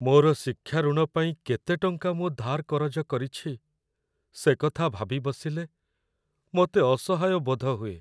ମୋର ଶିକ୍ଷା ଋଣ ପାଇଁ କେତେ ଟଙ୍କା ମୁଁ ଧାର୍ କରଜ କରିଛି, ସେ କଥା ଭାବି ବସିଲେ, ମୋତେ ଅସହାୟ ବୋଧ ହୁଏ।